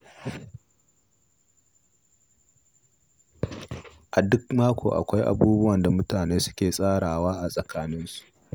A duk mako, akwai abubuwan da mutane suke tsarawa a tsakaninsu.